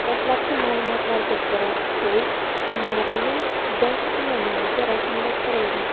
Dastlabki ma’lumotlarga ko‘ra, uy Marina Yudashkina nomiga rasmiylashtirilgan.